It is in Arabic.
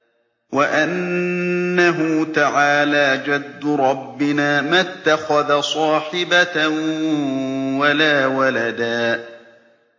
وَأَنَّهُ تَعَالَىٰ جَدُّ رَبِّنَا مَا اتَّخَذَ صَاحِبَةً وَلَا وَلَدًا